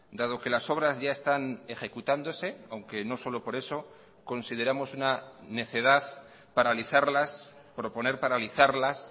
dado que las obras ya están ejecutándose aunque no solo por eso consideramos una necedad paralizarlas proponer paralizarlas